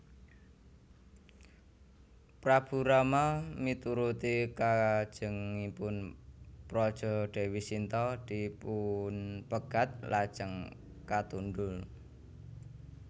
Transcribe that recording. Prabu Rama mituruti kajengipun praja Déwi Sinta dipunpegat lajeng katundhung